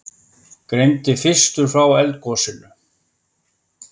Greindi fyrstur frá eldgosinu